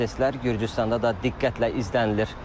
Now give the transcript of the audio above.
Proseslər Gürcüstanda da diqqətlə izlənilir.